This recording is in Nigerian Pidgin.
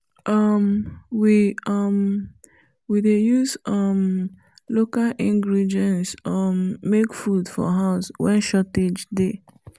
um we um we dey use um local ingredients um make food for house wen shortage dey